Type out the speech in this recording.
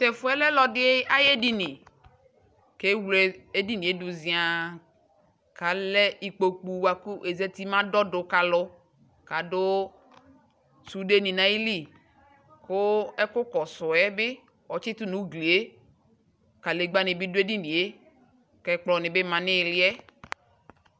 tʊ ɛfʊ yɛ lɛ ɔlɔdɩ ayʊ edini, kʊ ewle edini yɛ dʊ ziăă, kʊ alɛ ikpoku bua kʊ ezati mɛ adɔdʊ, kʊ alɛ sundenɩ nʊ ayili, kʊ ɛkʊ kɔsʊ yɛ bɩ ɔtʊ nʊ ugli yɛ, kadegbǝ nɩ bɩ dʊ edini yɛ, kʊ ɛkplɔnɩ bɩ lɛ nʊ iili yɛ